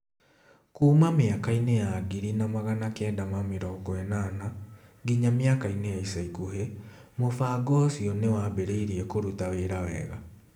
Kuuma mĩaka-inĩ ya 1980 nginya mĩaka-inĩ ya ica ikuhĩ, mũbango ũcio nĩ wambĩrĩirie kũruta wĩra wega.